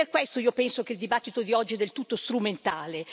E per questo io penso che il dibattito di oggi sia del tutto strumentale.